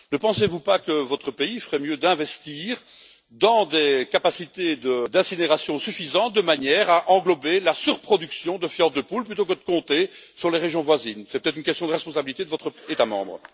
Ne pensez vous pas que votre pays ferait mieux d'investir dans des capacités d'incinération suffisantes, de manière à pouvoir traiter la surproduction de fientes de poule, plutôt que de compter sur les régions voisines? C'est peut être une question de responsabilité de votre État membre.